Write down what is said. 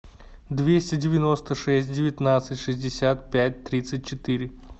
двести девяносто шесть девятнадцать шестьдесят пять тридцать четыре